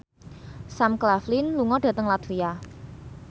Sam Claflin lunga dhateng latvia